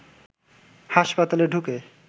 হাসপাতালে ঢুকে